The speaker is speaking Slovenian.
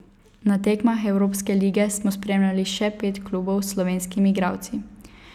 Na tekmah evropske lige smo spremljali še pet klubov s slovenskimi igralci.